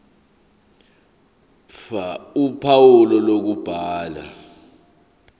ph uphawu lokubhala